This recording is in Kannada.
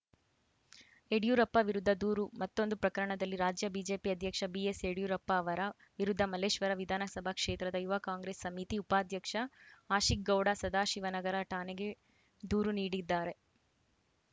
ಯಡಿಯೂರಪ್ಪ ವಿರುದ್ಧ ದೂರು ಮತ್ತೊಂದು ಪ್ರಕರಣದಲ್ಲಿ ರಾಜ್ಯ ಬಿಜೆಪಿ ಅಧ್ಯಕ್ಷ ಬಿಎಸ್‌ಯಡಿಯೂರಪ್ಪ ಅವರ ವಿರುದ್ಧ ಮಲ್ಲೇಶ್ವರ ವಿಧಾನಸಭಾ ಕ್ಷೇತ್ರದ ಯುವ ಕಾಂಗ್ರೆಸ್‌ ಸಮಿತಿ ಉಪಾಧ್ಯಕ್ಷ ಆಶಿಕ್‌ಗೌಡ ಸದಾಶಿವನಗರ ಠಾಣೆಗೆ ದೂರು ನೀಡಿದ್ದಾರೆ